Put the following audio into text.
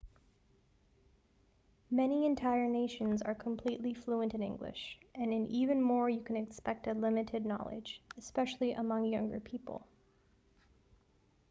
many entire nations are completely fluent in english and in even more you can expect a limited knowledge especially among younger people